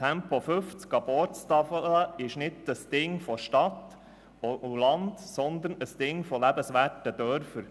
Bei Tempo 50 km/h ab Ortstafel geht es nicht um die Frage Stadt oder Land, sondern um lebenswerte Dörfer.